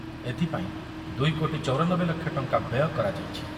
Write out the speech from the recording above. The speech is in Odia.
ଏଥିପାଇଁ ଦୁଇ କୋଟି ଚୌରାନବେ ଲକ୍ଷ ଟଙ୍କା ବ୍ୟୟ କରାଯାଇଛି ।